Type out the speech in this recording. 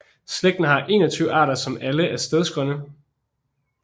Slægten har 21 arter som alle er stedsegrønne